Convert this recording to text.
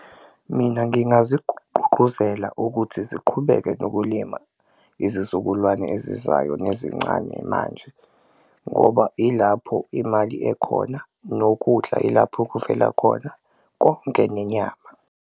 Mina ukuthi ziqhubeke nokulima izizukulwane ezizayo nezincane manje ngoba ilapho imali ekhona, nokudla ilapho okuvela khona konke nenyama.